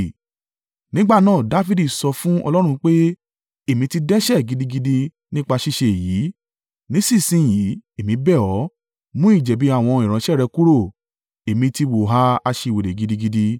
Nígbà náà Dafidi sọ fún Ọlọ́run pé, èmi ti dẹ́ṣẹ̀ gidigidi nípa ṣíṣe èyí. Nísinsin yìí, èmi bẹ̀ ọ́, mú ìjẹ̀bi àwọn ìránṣẹ́ rẹ kúrò. Èmi ti hùwà aṣiwèrè gidigidi.